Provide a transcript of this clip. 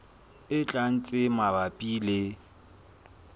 e tlang tse mabapi le